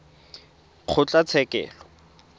kgotlatshekelo